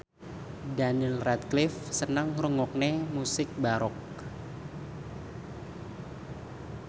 Daniel Radcliffe seneng ngrungokne musik baroque